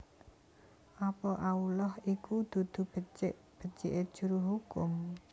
Apa Allah iku dudu becik becike juru hukum